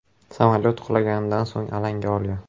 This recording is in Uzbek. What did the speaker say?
Samolyot qulaganidan so‘ng alanga olgan.